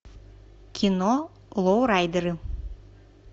кино лоурайдеры